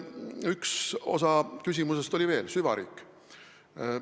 Üks osa küsimusest oli veel süvariik.